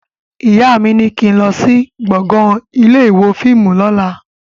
Ìyá mi ní kín lọ sí gbọ̀ngàn ilé ìwo fíìmù lóla